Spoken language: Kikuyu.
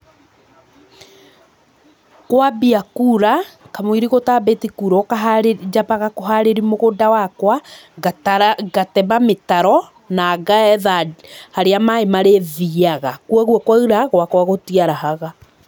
Kwambia kura, kamũira gũtambĩti kura ũkaharĩ, nyambaga kũharĩria mũgũnda wakwa, ngatara, ngatema mĩtaro, na ngetha harĩa maĩ marĩthiaga, kwoguo kwaura, gwakwa gũtiarahaga.